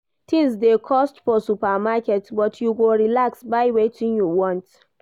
Tins dey cost for supermarket but you go relax buy wetin you want.